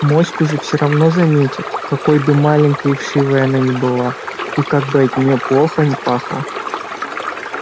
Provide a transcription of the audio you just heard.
моську же все равно заметят какой бы маленькой и вшивой она ни была и как бы от нее плохо ни пахло